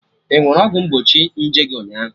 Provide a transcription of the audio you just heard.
Ị ṅụrụ ọgwụ mgbochi nje gị ụnyaahụ?